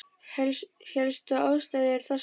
Helstu ástæður eru þessar